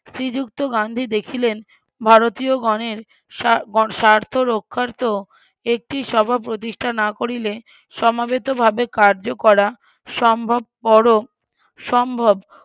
শ্রীযুক্ত গান্ধী দেখিলেন ভারতিয়গনের স্বার্থ~স্বার্থরক্ষার্থ একটি সভা প্রতিষ্ঠা না করিলে সমাবেত ভাবে কার্য করা সম্ভবপর সম্ভব